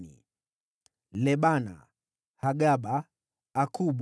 wazao wa Lebana, Hagaba, Akubu,